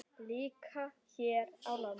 Líka hér á landi.